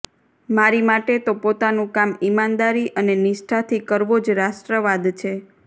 મારી માટે તો પોતાનું કામ ઇમાનદારી અને નિષ્ઠાથી કરવો જ રાષ્ટ્રવાદ છે